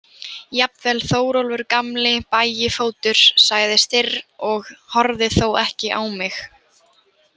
Jafnvel Þórólfur gamli bægifótur, sagði Styrr og horfði þó ekki á mig.